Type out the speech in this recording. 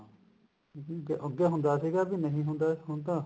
ਅਹ ਅਹ ਅੱਗੇ ਹੁੰਦਾ ਸੀਗਾ ਵੀ ਨਹੀਂ ਹੁੰਦਾ ਹੁਣ ਤਾਂ